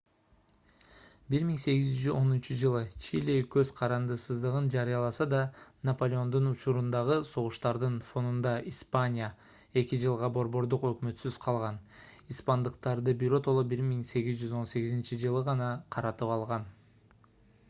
1810-ж. чили көз карандысыздыгын жарыяласа да наполеондун учурундагы согуштардын фонунда испания эки жылга борбордук өкмөтсүз калган испандыктарды биротоло 1818-жылы гана каратып алган